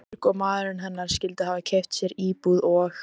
Björg og maðurinn hennar skyldu hafa keypt sér íbúð og